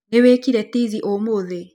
Nĩwĩkire tizi ũmũthĩ?